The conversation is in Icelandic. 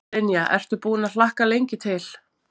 Brynja: Ertu búinn að hlakka lengi til?